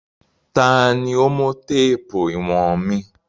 Ta ni ó mú téèpù ìwọ̀n mi.